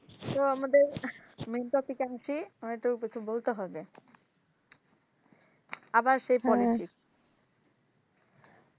ছো আমাদের মেইন টপিকে আসি আমারে একটু একটু বলতে হবে আবার সেই পলিটিক্স